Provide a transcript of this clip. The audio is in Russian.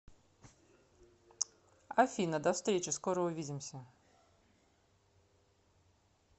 афина до встречи скоро увидимся